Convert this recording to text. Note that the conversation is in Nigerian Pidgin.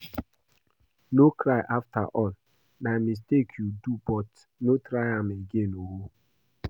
No cry afterall na mistake you do but no try am again oo